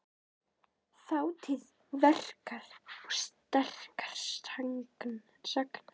Þátíð veikra og sterkra sagna.